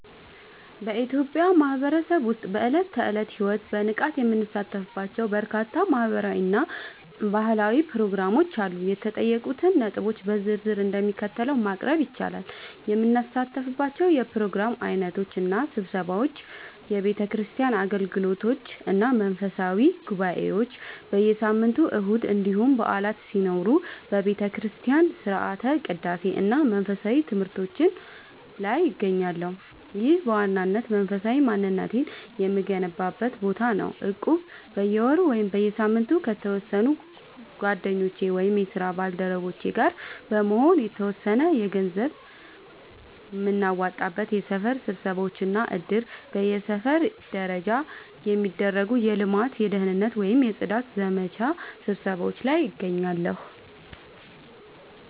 በኢትዮጵያ ማህበረሰብ ውስጥ በዕለት ተዕለት ሕይወቴ በንቃት የምሳተፍባቸው በርካታ ማህበራዊ እና ባህላዊ ፕሮግራሞች አሉ። የተጠየቁትን ነጥቦች በዝርዝር እንደሚከተለው ማቅረብ ይቻላል፦ የምሳተፍባቸው የፕሮግራም ዓይነቶች እና ስብሰባዎች፦ የቤተክርስቲያን አገልግሎቶች እና መንፈሳዊ ጉባኤዎች፦ በየሳምንቱ እሁድ እንዲሁም በዓላት ሲኖሩ በቤተክርስቲያን ሥርዓተ ቅዳሴ እና መንፈሳዊ ትምህርቶች ላይ እገኛለሁ። ይህ በዋናነት መንፈሳዊ ማንነቴን የምገነባበት ቦታ ነው። እቁብ፦ በየወሩ ወይም በየሳምንቱ ከተወሰኑ ጓደኞቼ ወይም የስራ ባልደረቦቼ ጋር በመሆን የተወሰነ ገንዘብ የምናዋጣበት። የሰፈር ስብሰባዎች እና እድር፦ በሰፈር ደረጃ የሚደረጉ የልማት፣ የደህንነት ወይም የጽዳት ዘመቻ ስብሰባዎች ላይ እገኛለሁ።